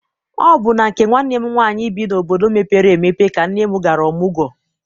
Ọ bụ na nke nwanne m nwaanyị bi n'obodo mepere emepe ka nne m gara ọmụgwọ.